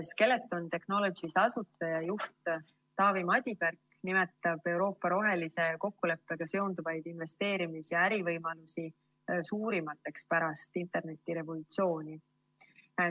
Skeleton Technologiesi asutaja ja juht Taavi Madiberk nimetab Euroopa rohelise kokkuleppega seonduvaid investeerimis‑ ja ärivõimalusi suurimateks pärast internetirevolutsiooni.